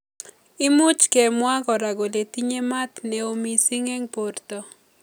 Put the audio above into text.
Imuch kemwa kora kole tinye maat neo missing eng borto.